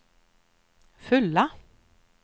fulla